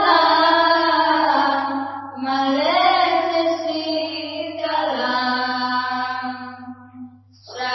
বন্দে মাতরম